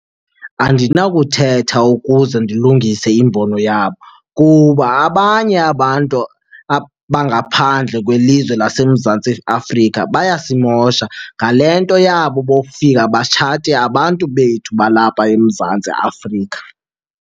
Andinakuthetha ukuze ndilungise imbono yabo kuba abanye abantu abangaphandle kwelizwe laseMzantsi Afrika bayasimosha ngale nto yabo bokufika batshate abantu bethu balapha eMzantsi Afrika.